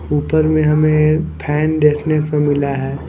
ऊपर में हमें फैन देखने को मिला है।